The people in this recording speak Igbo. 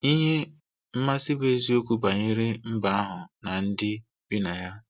Ihe mmasị bụ eziokwu banyere mba ahụ na ndị bi na ya.